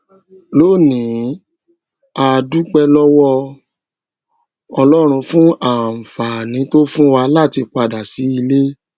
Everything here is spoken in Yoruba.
lónìí a dúpé lówó ọlórun fún àǹfààní tó fún wa láti pa dà sí ilè